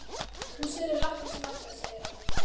Hún selur lakkrísinn okkar, segir hann.